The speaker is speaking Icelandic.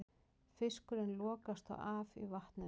Fiskurinn lokast þá af í vatninu.